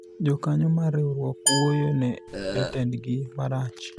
jokanyo mar riwruok wuoyo ne jotendgi marach